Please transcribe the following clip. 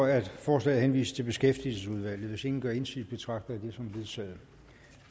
at forslaget henvises til beskæftigelsesudvalget hvis ingen gør indsigelse betragter jeg det som vedtaget